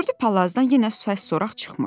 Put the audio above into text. Gördü palazdan yenə səs-soraq çıxmır.